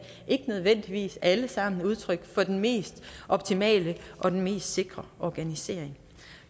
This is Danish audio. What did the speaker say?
ikke nødvendigvis alle sammen udtryk for den mest optimale og den mest sikre organisering